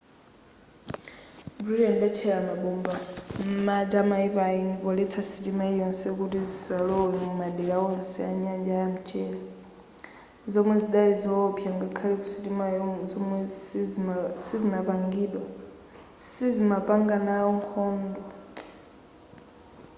britain idatchera mabomba m'madzi amayiko aeni poletsa sitima iliyonse kuti zisalowe mumadera onse anyanja ya mchere zomwe zidali zowopsa ngakhale ku sitima zomwe sizimapanganawo nkhondo